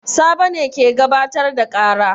Sabo ne ke gabatar da ƙara.